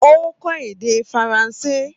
Ó n kó èdè faransé